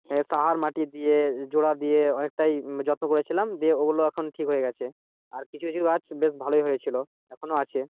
সার মাটি দিয়ে জোড়া দিয়ে অনেকটা যত্ন করেছিলাম দিয়ে ওগুলা এখন ঠিক হয়ে গেছে। আর কিছু কিছু গাছ বেশ ভালই হয়েছিল এখনো আছে।